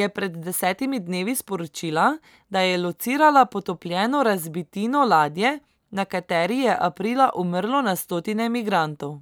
je pred desetimi dnevi sporočila, da je locirala potopljeno razbitino ladje, na kateri je aprila umrlo na stotine migrantov.